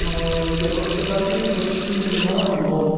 я просто так то их почти не знаю лол